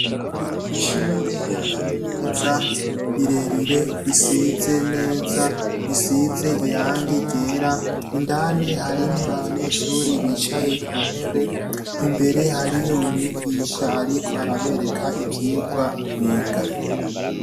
Ishure rya kaminuza rirerire risize neza, risize irangi ryera, indani harimwo abanyeshure bicaye Ku ntebe, imbere hariyo umwigisha ariko arabereka ivyirwa biga.